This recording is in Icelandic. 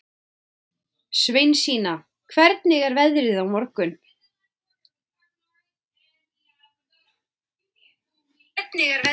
Sveinsína, hvernig er veðrið á morgun?